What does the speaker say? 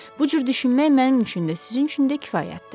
Bu cür düşünmək mənim üçün də, sizin üçün də kifayətdir.